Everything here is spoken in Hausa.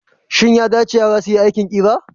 Shin ya dace yara su yi aikin ƙira?